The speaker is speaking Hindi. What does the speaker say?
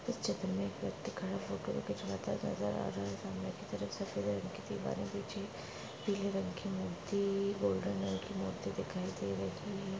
इस चित्र में एक व्यक्ति खड़ा फोटो खिचवाता नजर आ रहा हैं। सामने की तरफ सफेद रंग की दिवार पिछे पीले रंग की मूर्ति गोल्डन रंग की मूर्ति दिखाई दे रही--